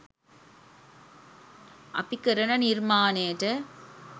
අපි කරන නිර්මාණයට